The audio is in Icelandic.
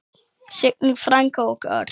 Signý frænka og Örn.